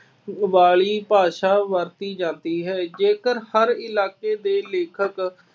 ਵਾਲੀ ਭਾਸ਼ਾ ਵਰਤੀ ਜਾਂਦੀ ਹੈ। ਜੇਕਰ ਹਰ ਇਲਾਕੇ ਦੇ ਲੇਖਕ